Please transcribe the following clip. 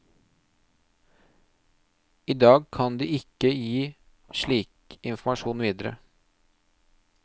I dag kan de ikke gi slik informasjon videre.